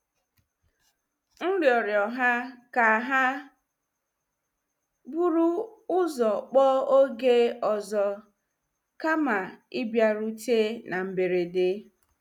M rịọrọ ha ka ha buru ụzọ kpọọ oge ọzọ, kama ịbịarute na mberede.